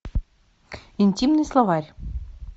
интимный словарь